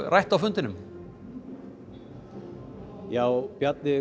rætt á fundinum já Bjarni